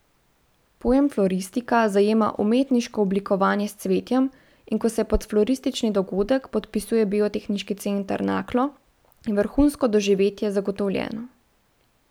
Pojem floristika zajema umetniško oblikovanje s cvetjem, in ko se pod floristični dogodek podpisuje Biotehniški center Naklo, je vrhunsko doživetje zagotovljeno.